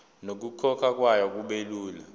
nokukhokhwa kwayo kubelula